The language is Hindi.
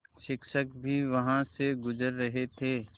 शिक्षक भी वहाँ से गुज़र रहे थे